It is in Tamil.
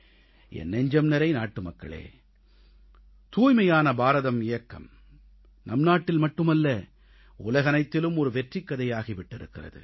என் நெஞ்சம் நிறை நாட்டுமக்களே தூய்மையான பாரதம் இயக்கம் நம் நாட்டில் மட்டுமல்ல உலகனைத்திலும் ஒரு வெற்றிக் கதையாகி விட்டிருக்கிறது